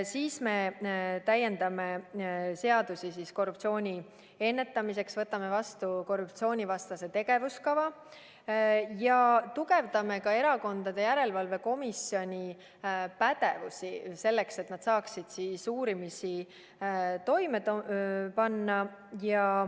Siis me täiendame seadusi korruptsiooni ennetamiseks, võtame vastu korruptsioonivastase tegevuskava ja tugevdame ka Erakondade Rahastamise Järelevalve Komisjoni pädevust, selleks et nad saaksid uurimisi toime panna.